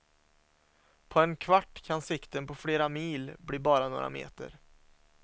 På en kvart kan sikten på flera mil bli bara några meter.